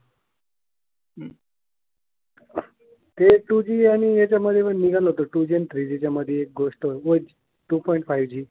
ते टुजी आणि ह्याच्या मध्ये पण निघालं होतं टुजी आणि थ्रीजी च्यामध्ये एक गोष्ठ टु पोइंट फायू जी.